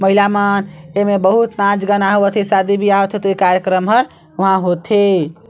महिला मन ए मे बहुत नाच गाना होत हे शादी बियाह होत कार्यक्रम हर होत हे।